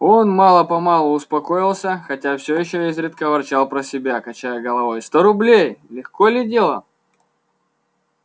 он мало-помалу успокоился хотя всё ещё изредка ворчал про себя качая головою сто рублей легко ли дело